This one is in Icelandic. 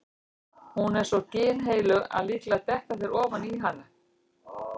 Hún er svo ginnheilög að líklega detta þeir ofan í hana.